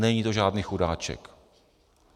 Není to žádný chudáček.